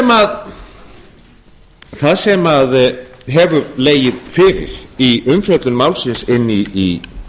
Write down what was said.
talist það sem hefur legið fyrir í umfjöllun málsins inn í